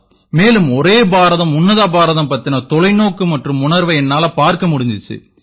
மேலும் ஒரே பாரதம் உன்னத பாரதம் பத்தின தொலைநோக்கு மற்றும் உணர்வை என்னால பார்க்க முடிஞ்சுது